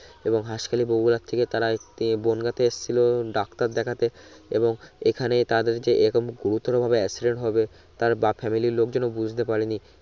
এবং হাসখালি বগুরা থেকে তারা এততে বনগাঁ তে এসচ্ছিলো ডাক্তার দেখাতে এবং এখানে তাদের যে এরোম গুরুতর ভাবে accident হবে তার বা family র লোকজন ও বুঝতে পারে নি